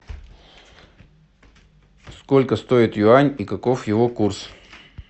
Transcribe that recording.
сколько стоит юань и каков его курс